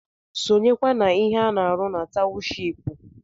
Sonyekwa n’ihe a na-arụ na tawụshipu!